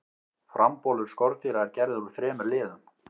frambolur skordýra er gerður úr þremur liðum